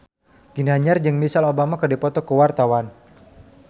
Ginanjar jeung Michelle Obama keur dipoto ku wartawan